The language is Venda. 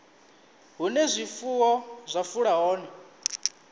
hune zwifuwo zwa fula hone